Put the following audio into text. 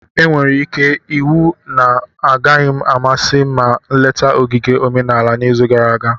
Onwere ike iwu na ọ gaghị amasị m ma nleta ogige omenala n'izu na-abịa.